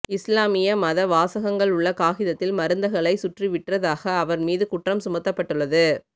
இஸ்லாமிய மத வாசகங்கள் உள்ள காகிதத்தில் மருந்துகளை சுற்றி விற்றதாக அவர்மீது குற்றம் சுமத்தப்பட்டள்ளது